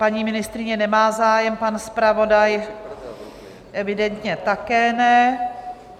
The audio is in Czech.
Paní ministryně nemá zájem, pan zpravodaj evidentně také ne.